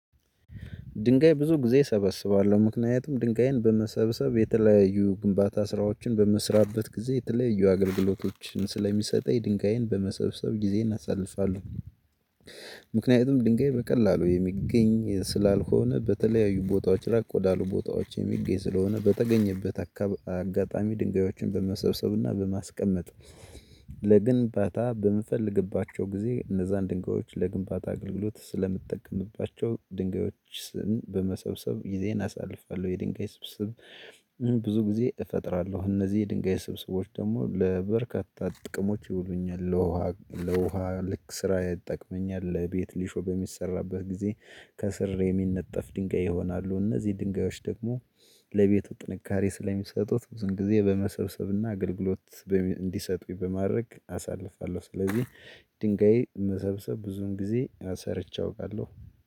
ድንጋይ ብዙ ጊዜ እሰበስባለሁ ምክንያቱም ድንጋይን በመሰብሰብ የተለያዩ ግንባታ ስራዎችን በምስራበት ጊዜ የተለያዩ አገልግሎቶችን ስለሚሰጠኝ ድንጋይን በመሰብሰብ ጊዜን አሳልፋለሁ። ምክንያቱም ድንጋይ በቀላሉ የሚገኝ ስላልሆነ በተለያዩ ቦታዎች ራቅ ወዳሉ ቦታዎች የሚገኝ ስለሆነ በተገኘበት አካብ አጋጣሚ ድንጋዮችን በመሰብሰብና በማስቀመጥ። ለግንባታ በምፈልግባቸው ጊዜ እነዛን ድንጋዮች ለግንባታ አገልግሎት ስለምትጠቀምባቸው ድንጋዮችን በመሰብሰብ ጊዜን አሳልፋለሁ የድንጋይ ስብስብ። ብዙ ጊዜ እፈጥራለሁ እነዚህ የድንጋይ ስብስቦች ደግሞ ለበርካታ ጥቅሞች ይውሉኛል ለውሃ ለውሃ ልክ ስራ ይጠቅመኛል ለቤት ሊሾም የሚሰራበት ጊዜ። ከስር የሚነጠፍ ድንጋይ ይሆናሉ እነዚህ ድንጋዮች ደግሞ ለቤቱ ጥንካሬ ስለሚሰጡት ብዙን ጊዜ በመሰብሰብና አገልግሎት። እንዲሰጡኝ በማድረግ አሳልፋለሁ ስለዚህ ድንጋይ መሰብሰብ ብዙን ጊዜ ሰርቼ አውቃለሁ።